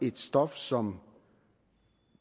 et stof som